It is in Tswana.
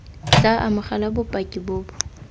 tla amogela bopaki bo bo